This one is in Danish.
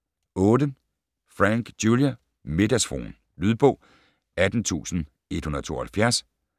8. Franck, Julia: Middagsfruen Lydbog 18172